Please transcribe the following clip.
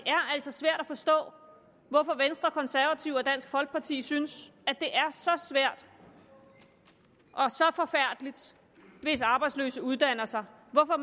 altså svært at forstå hvorfor venstre konservative og dansk folkeparti synes at det er så svært og så forfærdeligt hvis arbejdsløse uddanner sig hvorfor